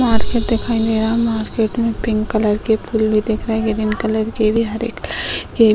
Market दिखाई दे रहा। मार्केट में पिंक कलर के फूल भी दिख रहे ग्रीन कलर के भी हरे कलर के भी।